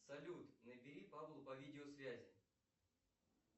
салют набери павлу по видеосвязи